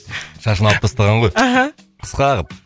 шашын алып тастаған ғой аха қысқа қылып